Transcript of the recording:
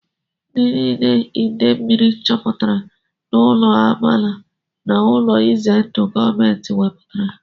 Ndị niile ide mmiri chụpụrụ n'ụlọ agbaala n'ụlọ ize ndụ gọọmenti wepụtara